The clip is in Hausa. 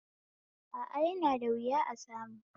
A a, yana da wuya a samu